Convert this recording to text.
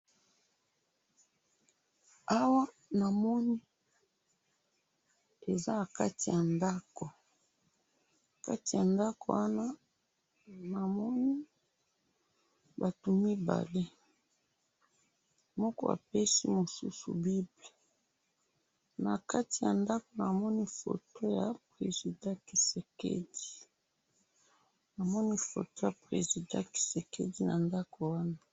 awa namoni eza nakati ya ndaku nakati ya ndaku wana namoni batu mibale moko apesi mususu bible nakati ya ndaku namoni foto ya president TSHISEKEDI namoni foto ya president TSISEKEDI na ndaku wana.